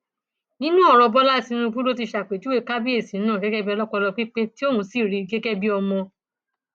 nínú ọrọ bọlá tìǹbù ló ti ṣàpèjúwe kábíyèsí náà gẹgẹ bíi ọlọpọlọ pípé tí òun sì rí gẹgẹ bí ọmọ